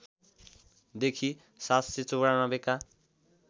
देखि ७९४ का